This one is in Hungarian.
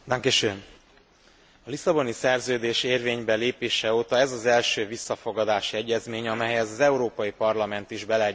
A Lisszaboni Szerződés érvénybelépése óta ez az első visszafogadási egyezmény, amelyhez az Európai Parlament is beleegyezését kell adja.